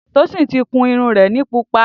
Tosin ti kún irún rẹ ni púpà